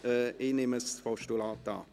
Ich nehme das Postulat an.